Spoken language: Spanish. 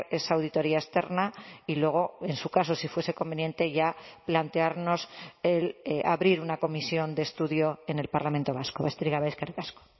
esa auditoría externa y luego en su caso si fuese conveniente ya plantearnos el abrir una comisión de estudio en el parlamento vasco besterik gabe eskerrik asko